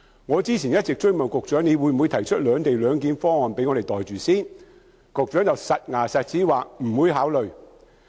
我之前不斷問局長會否提出"兩地兩檢"方案讓我們"袋住先"，但局長斷言不會考慮。